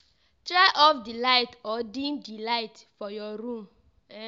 Try off di light or deem di light for your room.